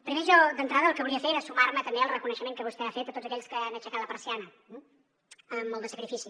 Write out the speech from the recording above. primer jo d’entrada el que volia fer era sumar me també al reconeixement que vostè ha fet a tots aquells que han aixecat la persiana amb molt de sacrifici